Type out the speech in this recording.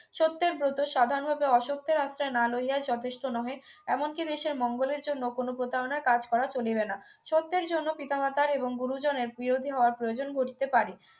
সত্যের ব্রত সাধারণভাবে অসত্যের আশ্রয় না লইয়া যথেষ্ট নহে এমনকি দেশের মঙ্গলের জন্য কোন প্রতারণার কাজ করা চলিবে না সত্যের জন্য পিতা মাতার এবং গুরুজনের প্রিয়ধি হওয়ার প্রয়োজন ঘটিতে পারে